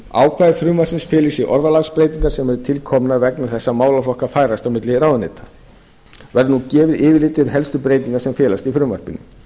ákvæði frumvarpsins fela í sér orðalagsbreytingar sem eru tilkomnar vegna þess að málaflokkar færast á milli ráðuneyta verður nú gefið yfirlit yfir helstu breytingar sem felast í frumvarpinu